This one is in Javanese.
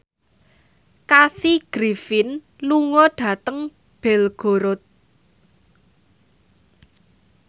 Kathy Griffin lunga dhateng Belgorod